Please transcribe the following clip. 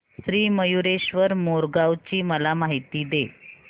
श्री मयूरेश्वर मोरगाव ची मला माहिती दे